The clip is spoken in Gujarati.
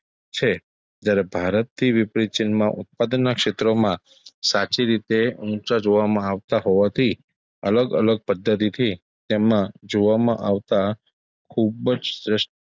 છે. જયારે ભારતથી વિપરીત ચીનમાં ઉત્પાદનના ક્ષેત્રોમાં સાચી રીતે ઉચા જોવામાં આવતાં હોવાથી અલગ-અલગ પદ્ધતિથી તેમાં જોવામાં આવતાં ખુબ જ,